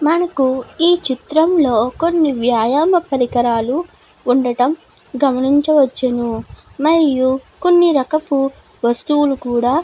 మనకు ఈ చిత్రం లో కొన్ని వ్యాయామ పరికరాలు ఉండడం గమనించవచ్చును. మరియు కొన్ని రకపు వస్తువులు కూడా --